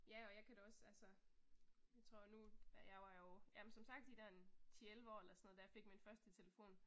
Ja og jeg kan da også altså jeg tror nu, ja jeg var jo, ja men som sagt de der en 10 11 år eller sådan noget da jeg fik min første telefon